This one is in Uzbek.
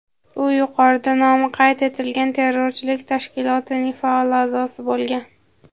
u yuqorida nomi qayd etilgan terrorchilik tashkilotining faol a’zosi bo‘lgan.